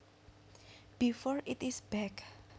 before it is baked